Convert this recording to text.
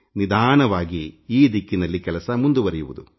ನಿಧಾನವಾಗಿ ಈ ದಿಕ್ಕಿನಲ್ಲಿ ಕೆಲಸ ಮುಂದುವರೆಯುವುದು